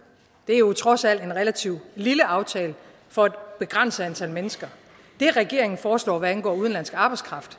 det er jo trods alt en relativt lille aftale for et begrænset antal mennesker det regeringen foreslår hvad angår udenlandsk arbejdskraft